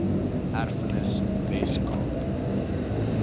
erfenis wes kaap